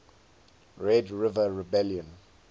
red river rebellion